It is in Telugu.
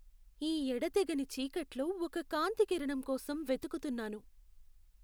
ఈ ఎడతెగని చీకట్లో ఒక కాంతికిరణం కోసం వెతుకుతున్నాను.